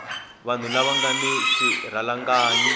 vanhu lava nga na swirhalanganyi